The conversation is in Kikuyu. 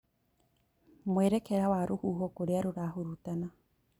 Mwerekera wa rũhuho kũrĩa rũrahurutana